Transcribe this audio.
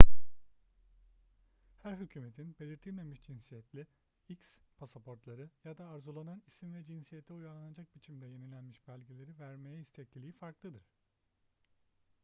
her hükümetin belirtilmemiş cinsiyetli x pasaportları ya da arzulanan isim ve cinsiyete uyarlanacak biçimde yenilenmiş belgeleri vermeye istekliliği farklıdır